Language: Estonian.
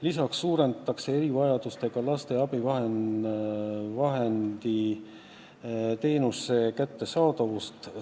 Lisaks parandatakse erivajadustega lastele abivahendi teenuse osutamist.